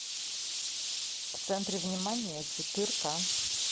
в центре внимания четырка